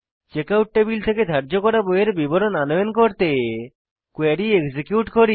checkout table থেকে ধার্য করা বইয়ের বিবরণ আনয়ন করতে কোয়েরী এক্সিকিউট করি